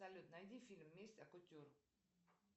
салют найди фильм месть от кутюр